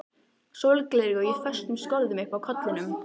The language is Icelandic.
Sólgleraugu í föstum skorðum uppi á kollinum.